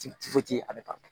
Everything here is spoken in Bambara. a bɛ ban